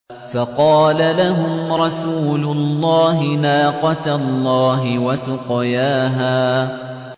فَقَالَ لَهُمْ رَسُولُ اللَّهِ نَاقَةَ اللَّهِ وَسُقْيَاهَا